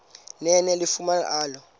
nene yalifumana elo